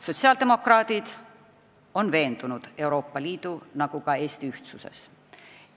Sotsiaaldemokraadid on veendunud Euroopa Liidu ja ka Eesti ühtsuses.